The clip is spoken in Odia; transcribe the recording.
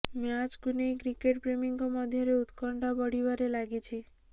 ମ୍ୟାଚକୁ ନେଇ କ୍ରିକେଟ୍ ପ୍ରେମୀଙ୍କ ମଧ୍ୟରେ ଉତ୍କଣ୍ଠା ବଢ଼ିବାରେ ଲାଗିଛି